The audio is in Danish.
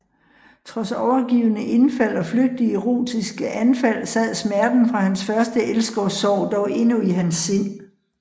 Trods overgivne indfald og flygtige erotiske anfald sad smerten fra hans første elskovssorg dog endnu i hans sind